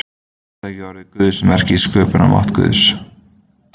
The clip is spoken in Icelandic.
Hugtakið orð Guðs merkir sköpunarmátt Guðs.